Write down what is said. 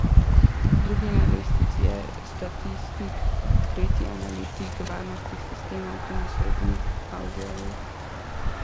Drugi na lestvici je statistik, tretji analitik varnostnih sistemov, ki mu sledi avdiolog.